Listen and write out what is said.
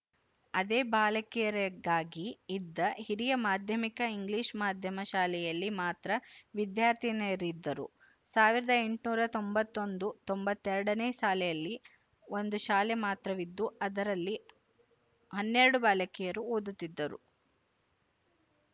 ಅದೇ ಬಾಲಕಿಯರಿಗಾಗಿ ಇದ್ದ ಹಿರಿಯ ಮಾಧ್ಯಮಿಕ ಇಂಗ್ಲಿಶ ಮಾಧ್ಯಮ ಶಾಲೆಯಲ್ಲಿ ಮಾತ್ರ ವಿದ್ಯಾರ್ಥಿನಿಯರಿದ್ದರು ಸಾವಿರದ ಎಂಟುನೂರ ತೊಂಬತ್ತ್ ಒಂದು ತೊಂಬತ್ತ್ ಎರಡು ನೇ ಸಾಲಿನಲ್ಲಿ ಒಂದು ಶಾಲೆ ಮಾತ್ರವಿದ್ದು ಅದರಲ್ಲಿ ಹನ್ನೆರಡು ಬಾಲಕಿಯರು ಓದುತ್ತಿದ್ದರು